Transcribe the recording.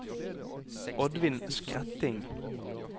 Oddvin Skretting